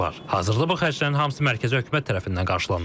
Hazırda bu xərclərin hamısı mərkəzi hökumət tərəfindən qarşılanır.